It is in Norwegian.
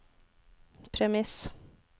premiss